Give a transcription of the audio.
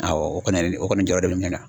Awɔ, o kɔni o kɔni jɔrɔ de bɛ ne na.